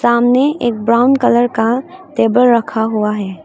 सामने एक brown colour का टेबल रखा हुआ है।